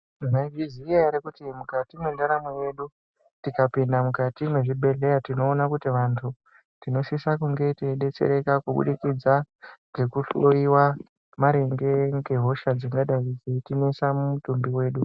Mwaizviziya ere kuti mukati mwendaramo yedu, tikapinda mukati mwezvibhedheya tinoona kuti vantu, tinosisa kunge teidetsereka kubudikidza, ngekuhloiwa maringe ngehosha dzingadai dzeitinesa mumitumbi wedu.